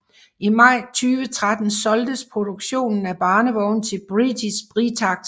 I maj 2013 solgtes produktionen af barnevogne til britiske Britax